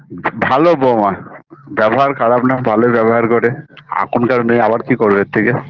ভালো বউমা ব্যবহার খারাপ না ভালোই ব্যবহার করে এখনকার মেয়ে আবার কি করবে এর থেকে